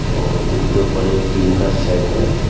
और उनके ऊपर एक टीन का शेड है।